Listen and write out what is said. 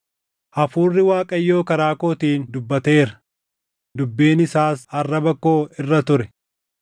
“Hafuurri Waaqayyoo karaa kootiin dubbateera; dubbiin isaas arraba koo irra ture.